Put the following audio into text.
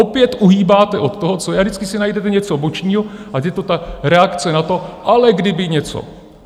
Opět uhýbáte od toho, co je, a vždycky si najdete něco bočního, ať je to ta reakce na to, ale kdyby něco...